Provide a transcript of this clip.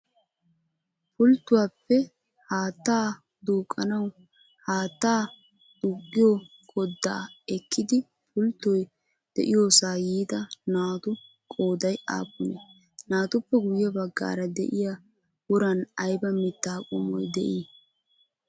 Pulttuwaappe haattaa duuqqanawu haattaa duuqqiyoo koddaa ekkidi pulttoy de'iyoosaa yiida naatu qoodayi aappunee? Naatuppe guyye baggaara de'iyaa woran ayba mitta qommoy de'ii?